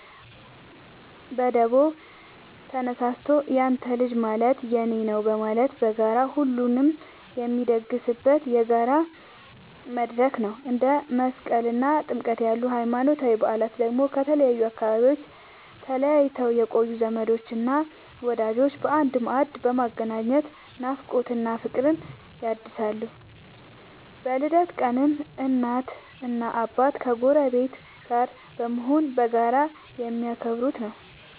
በደቦ ተነሳስቶ ያንተ ልጅ ማለት የኔ ነዉ በማለት በጋራ ሁሉንም የሚያስደስትበት የጋራ መድረክ ነው። እንደ መስቀልና ጥምቀት ያሉ ሃይማኖታዊ በዓላት ደግሞ ከተለያዩ አካባቢዎች ተለይተው የቆዩ ዘመዶችንና ወዳጆችን በአንድ ማዕድ በማገናኘት ናፍቆትን እና ፍቅርን ያድሳሉ። በልደት ቀንም እናትና አባት ከጎረቤት ጋር በመሆን በጋራ የሚያከብሩት ነዉ።